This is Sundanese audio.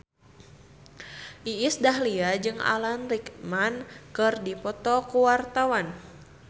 Iis Dahlia jeung Alan Rickman keur dipoto ku wartawan